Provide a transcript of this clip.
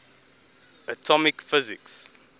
atomic physics